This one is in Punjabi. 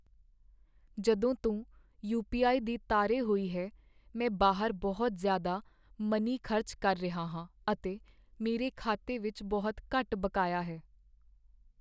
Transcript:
ਜਦੋਂ ਤੋਂ ਯੂ. ਪੀ. ਆਈ. ਦੀ ਤਾਰੇ ਹੋਈ ਹੈ, ਮੈਂ ਬਾਹਰ ਬਹੁਤ ਜ਼ਿਆਦਾ ਮਨੀ ਖ਼ਰਚ ਕਰ ਰਿਹਾ ਹਾਂ ਅਤੇ ਮੇਰੇ ਖਾਤੇ ਵਿੱਚ ਬਹੁਤ ਘੱਟ ਬਕਾਇਆ ਹੈ।